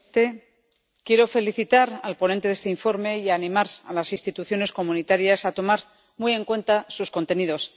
Señor presidente, quiero felicitar al ponente de este informe y animar a las instituciones comunitarias a tomar muy en cuenta sus contenidos.